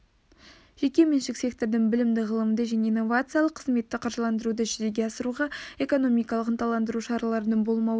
жеке меншік сектордың білімді ғылымды және инновациялық қызметті қаржыландыруды жүзеге асыруға экономикалық ынталандыру шараларының болмауы